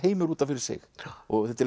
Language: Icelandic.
heimur út af fyrir sig og